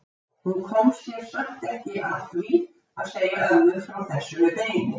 Hún kom sér samt ekki að því að segja ömmu frá þessu með beinið.